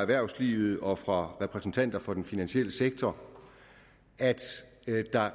erhvervslivet og fra repræsentanter for den finansielle sektor at der